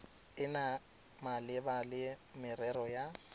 ena malebana le merero ya